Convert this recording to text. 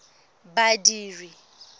badiri